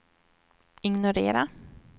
ignorera